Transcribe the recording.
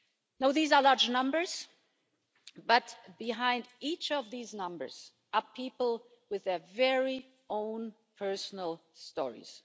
Now these are large numbers but behind each of these numbers are people with their very own personal stories.